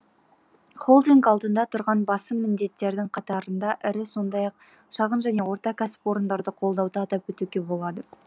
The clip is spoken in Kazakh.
холдинг алдында тұрған басым міндеттердің қатарында ірі сондай ақ шағын және орта кәсіпорындарды қолдауды атап өтуге болады